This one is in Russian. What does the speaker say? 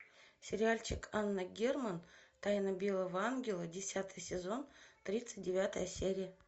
сериальчик анна герман тайна белого ангела десятый сезон тридцать девятая серия